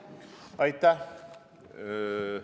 Aitäh!